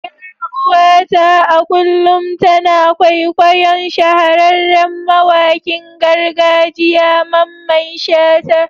Yar uwata a kullum tana kwaikwayon shahararren mawakin gargajiya Mamman shata.